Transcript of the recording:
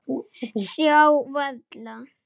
Sjá varla.